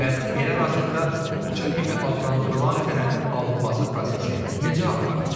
Bəs elə arasından kupça kimi adlandırılan sənədin alınması prosesi necə aparılır?